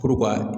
Puru ka